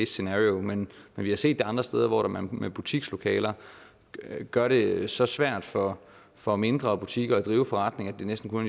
scenario men vi har set det andre steder hvor man med butikslokaler gør det så svært for for mindre butikker at drive forretning at det næsten kun